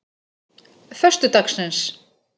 föstudagsins